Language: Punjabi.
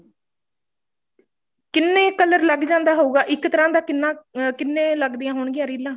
ਕਿੰਨੇ color ਲੱਗ ਜਾਂਦਾ ਹੋਊਗਾ ਇੱਕ ਤਰ੍ਹਾਂ ਦਾ ਕਿੰਨਾ ਅਹ ਕਿੰਨੇ ਲੱਗਦੀਆਂ ਹੋਣਗੀਆ ਰੀਲਾਂ